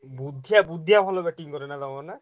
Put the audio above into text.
ବୁଧିଆ ବୁଧିଆ ଭଲ batting କରେ ନା ତମର ନା?